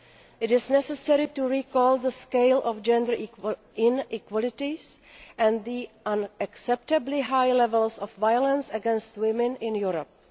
It is necessary to recall the scale of gender inequalities and the unacceptably high levels of violence against women in Europe.